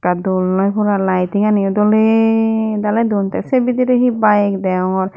dol noi pora laiting ani dole daley don te se bidire he bike degongor.